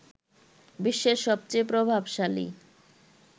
বিশ্বের সবচেয়ে প্রভাবশালী